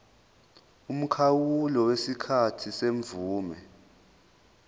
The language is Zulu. umkhawulo wesikhathi semvume